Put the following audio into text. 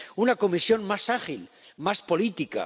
Una Comisión más ágil, más política